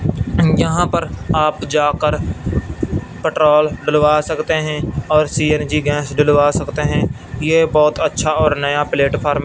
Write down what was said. यहां पर आप जाकर पेट्रोल डलवा सकते हैं और सी_एन_जी गैस डलवा सकते हैं ये बहुत अच्छा और नया प्लेटफार्म --